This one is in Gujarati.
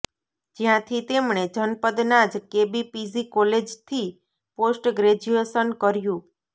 જ્યાંથી તેમણે જનપદના જ કેબી પીજી કોલેજથી પોસ્ટ ગ્રેજ્યુએશન કર્યું